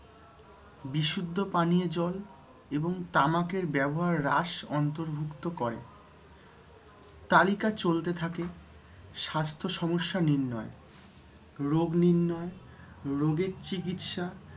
বিশুদ্ধ পানীয় জল এবং তামাকের ব্যবহার হ্রাস অন্তর্ভুক্ত করে। তালিকা চলতে থাকে স্বাস্থ্য সমস্যা নির্ণয়, রোগ নির্ণয়, রোগের চিকিৎসা,